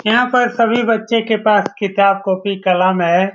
यहाँ पर सभी बच्चे के पास किताब कॉपी कलम है।